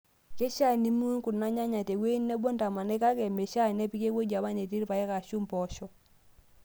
Keishaa nimiun Kuna nyanya teewueji nebo ntaamanai kake meishaa nepiki ewueji apa netii irpaek ashuu mpoosho.